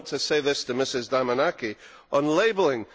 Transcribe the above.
I want to say this to Mrs Damanaki on labelling.